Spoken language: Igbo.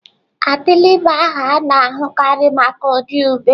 Atịlị bụ aha a na-ahụkarị maka ụdị ube.